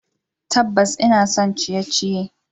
Tabbas, ina son abun ciye-ciye.